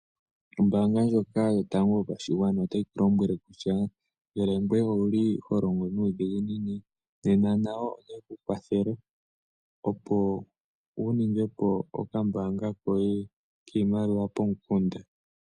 Ombaanga ndjoka yotango yopashigwana otayi ku lombwele kutya ngele ngweye owuli ho longo nuudhiginini nena nayo otayi ku kwathele opo wu ninge po okambaanga koye pomukunda.